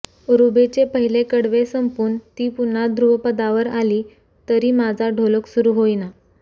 रुबीचे पहिले कडवे संपून ती पुन्हा धृपदावर आली तरी माझा ढोलक सुरु होईना